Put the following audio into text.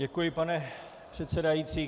Děkuji, pane předsedající.